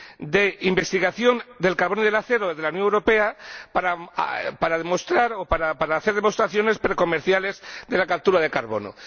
de Investigación del Carbón y del Acero de la Unión Europea para demostrar o para hacer demostraciones precomerciales de la captura de carbono.